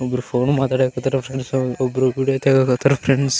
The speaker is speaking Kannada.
ಒಬ್ರು ಫೋನ್ ಮಾತಾಡ್ಯಕತ್ತಾರ ಫ್ರೆಂಡ್ಸ್ ಒಬ್ರು ವೀಡಿಯೋ ತೆಗಿಯಕತ್ತಾರ ಫ್ರೆಂಡ್ಸ್ .